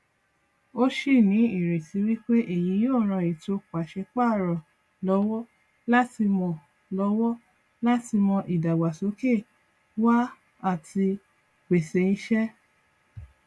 ó sì ní ìrètí wípé èyí yóò ran ètò pàṣẹ párọ lọwọ láti mọ lọwọ láti mọ ìdàgbàsókè wá àti pèsè ìṣe